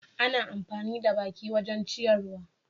Ana amfani da baki wajen ciyarwa.